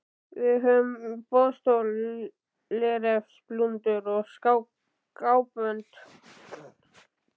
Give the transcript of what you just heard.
Við höfum á boðstólum léreftsblúndur og skábönd.